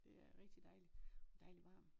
Der er rigtig dejligt dejlig varmt